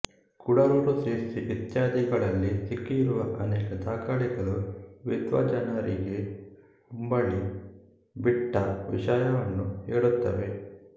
ಕುಡಲೂರು ಸಿರ್ಸಿ ಇತ್ಯಾದಿಗಳಲ್ಲಿ ಸಿಕ್ಕಿರುವ ಅನೇಕ ದಾಖಲೆಗಳು ವಿದ್ವಜ್ಜನರಿಗೆ ಉಂಬಳಿ ಬಿಟ್ಟ ವಿಷಯವನ್ನು ಹೇಳುತ್ತವೆ